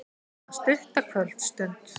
Eina stutta kvöldstund.